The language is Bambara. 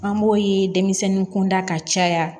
An b'o ye denmisɛnninw kun da ka caya